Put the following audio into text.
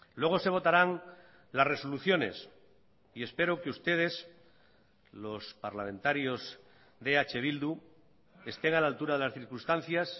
luego se votarán las resoluciones y espero que ustedes los parlamentarios de eh bildu estén a la altura de las circunstancias